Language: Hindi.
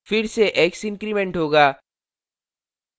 फिर से x इन्क्रिमेंट होगा